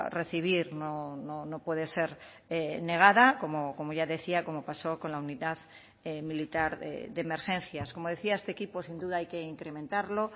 recibir no puede ser negada como ya decía como pasó con la unidad militar de emergencias como decía este equipo sin duda hay que incrementarlo